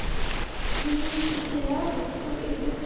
вы не учителя русского язык